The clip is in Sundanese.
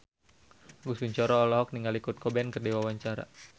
Agus Kuncoro olohok ningali Kurt Cobain keur diwawancara